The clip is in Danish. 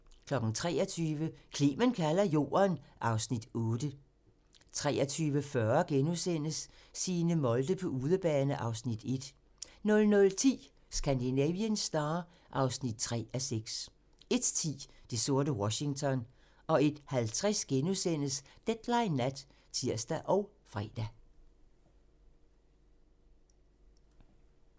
23:00: Clement kalder Jorden (Afs. 8) 23:40: Signe Molde på udebane (Afs. 1)* 00:10: Scandinavian Star (3:6) 01:10: Det sorte Washington 01:50: Deadline Nat *(tir og fre)